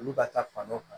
Olu ka taa fan dɔ kan